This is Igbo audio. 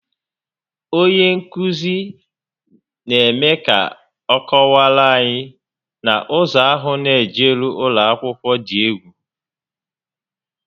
Onye nkụzi n'eme ka ọ kọwaara anyị na ụzọ ahụ n'ejeru ụlọakwụkwọ dị egwu